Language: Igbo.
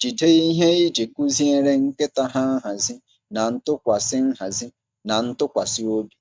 jide ihe iji kụziere nkịta ha nhazi na ntụkwasị nhazi na ntụkwasị obi.